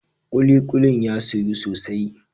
kulikulin ya soyu sosai